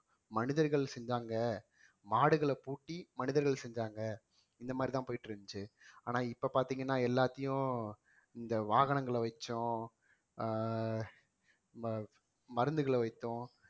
மனிதர்கள் செஞ்சாங்க மாடுகளை பூட்டி மனிதர்கள் செஞ்சாங்க இந்த மாதிரிதான் போயிட்டு இருந்துச்சு ஆனா இப்ப பாத்தீங்கன்னா எல்லாத்தையும் இந்த வாகனங்களை வச்சும் ஆஹ் மருந்துகளை வைத்தும்